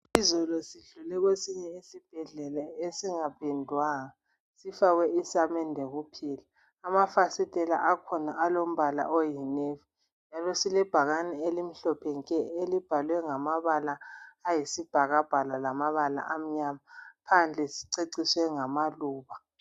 Izolo sidlule kwesinye esibhedlela esingaphendwanga .Sifakwe isamende kuphela .Amafasitela akhona alombala oyi navy. Ibhakane elimhlophe nke elibhalwe ngamabala ayisibhakabhaka lamabala amnyama. Phandle siceciswe ngamaluba.